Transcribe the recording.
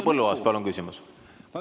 Härra Põlluaas, palun küsimus!